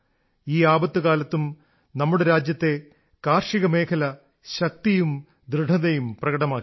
ഈ ആപത്തുകാലത്തും നമ്മുടെ രാജ്യത്തെ കാർഷികമേഖല ശക്തിയും ദൃഢതയും പ്രകടമാക്കി